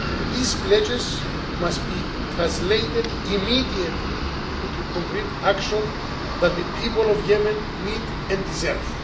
These pledges must be translated immediately into the concrete action that the people of Yemen need and deserve.